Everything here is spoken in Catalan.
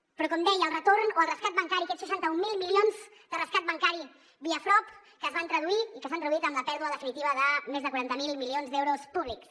però com deia el retorn o el rescat bancari aquests seixanta mil milions de rescat bancari via frob que es van traduir i que s’han traduït en la pèrdua definitiva de més de quaranta miler milions d’euros públics